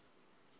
kanti ee kho